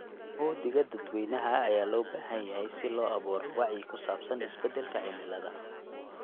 Uhdhigga dadweynaha ayaa loo baahan yahay si loo abuuro wacyi ku saabsan isbedelka cimilada.